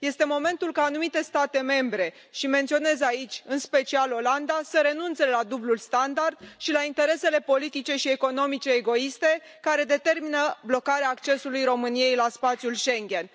Este momentul ca anumite state membre și menționez aici, în special, Olanda să renunțe la dublul standard și la interesele politice și economice egoiste care determină blocarea accesului României la spațiul Schengen.